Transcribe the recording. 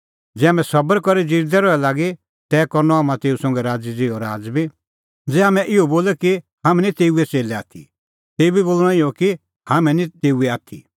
ज़ै हाम्हैं सबर करी ज़िरदै रहे लागी तै करनअ हाम्हां तेऊ संघै राज़ै ज़िहअ राज़ बी ज़ै हाम्हैं इहअ बोले कि हाम्हैं निं तेऊए च़ेल्लै आथी तेऊ बी बोल़णअ इहअ कि हाम्हैं निं तेऊए आथी